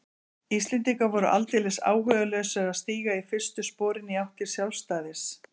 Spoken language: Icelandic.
Íslendingar voru aldeilis áhugalausir að stíga fyrstu sporin í átt til sjálfstæðis.